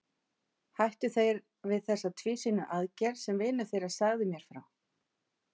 Hættu þeir við þessa tvísýnu aðgerð sem vinur þinn sagði mér frá?